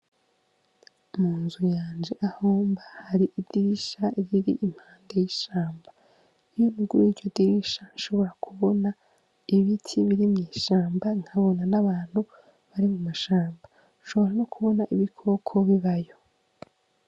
Mu nzu yanje aho mba, hari idirisha riri impande y'ishamba. N'ubwo iryo dirisha rishobora kubona ibiti n'ibiri mw'ishamba nkabona n'abantu bari mw'ishamba. Nshobora no kubona ibikoko bibayo.